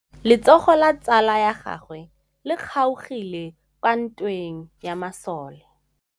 Letsôgô la tsala ya gagwe le kgaogile kwa ntweng ya masole.